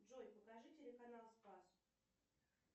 джой покажи телеканал спас